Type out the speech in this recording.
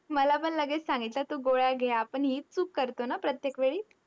मला पण लगेच सांगितलं, तू गोळ्या घे. आपण हीच चूक करतो ना प्रत्येक वेळी?